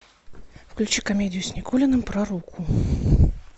включи комедию с никулиным про руку